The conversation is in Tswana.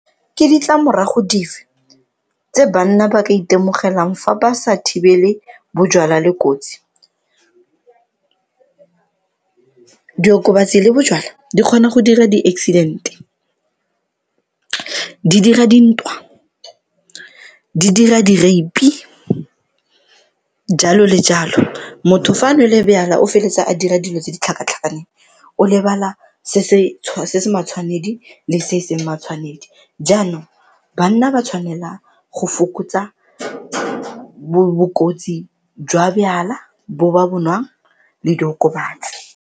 Ke ditlamorago dife tse banna ba ka itemogelang fa ba sa thibele bojalwa le kotsi? Diokobatsi le bojalwa di kgona go dira di-accident-e, di dira dintwa, di dira di-rape-i, jalo le jalo. Motho fa a nole jwala o feletsa a dira dilo tse di tlhakatlhakaneng o lebala se se matshwanedi le se e seng matshwanedi. Jaanong, banna ba tshwanela go fokotsa bokotsi jwa jwala bo ba bo nwang le diokobatsi.